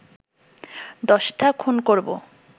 দশটা খুন করবো